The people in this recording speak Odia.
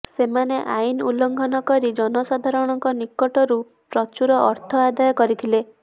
ସେମାନେ ଆଇନ ଉଲ୍ଲଘଂନ କରି ଜନସାଧାରଣଙ୍କ ନିକଟରୁ ପ୍ରଚୁର ଅର୍ଥ ଆଦାୟ କରିଥିଲେ